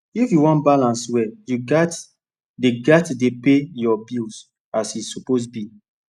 if you wan balance well you gats dey gats dey pay your bills as e suppose be